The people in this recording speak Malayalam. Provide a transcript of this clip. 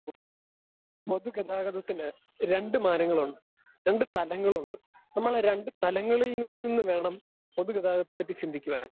സ്പീക്കർ 2 പൊതുഗതാഗതത്തിന് രണ്ടു മാനങ്ങളുണ്ട് രണ്ടു തലങ്ങളുണ്ട്. നമ്മളാ രണ്ടു തലങ്ങളിൽ നി നിന്ന് വേണം പൊതുഗതാഗതത്തെപ്പറ്റി ചിന്തിക്കുവാൻ.